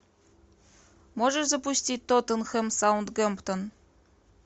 можешь запустить тоттенхэм саутгемптон